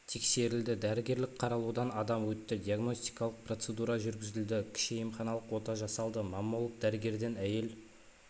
тексерілді дәрігерлік қаралудан адам өтті диагностикалық процеруда жүргізілді кіші емханалық ота жасалды маммолог дәрігерден әйел